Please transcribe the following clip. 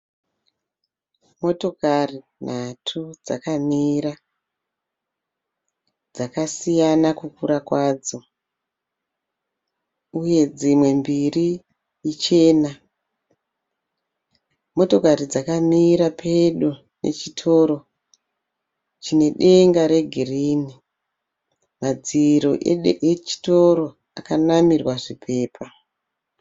Motokari nhatu dzakamira dzakasiyana kukura kwadzo uye dzimwe mbiri ichena motokari dzakamira pedo nechitoro chine denga regirini madziro echitoro akanamirwa zvipepa.